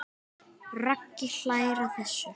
Raggi hlær að þessu.